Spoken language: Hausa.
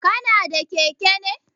Kana da keke ne?